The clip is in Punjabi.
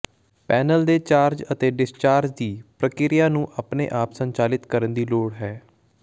ਪੈਨਲ ਦੇ ਚਾਰਜ ਅਤੇ ਡਿਸਚਾਰਜ ਦੀ ਪ੍ਰਕਿਰਿਆ ਨੂੰ ਆਪਣੇ ਆਪ ਸੰਚਾਲਿਤ ਕਰਨ ਦੀ ਲੋੜ ਹੈ